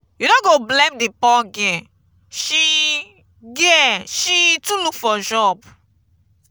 you no go blame the poor girl she girl she too look for job.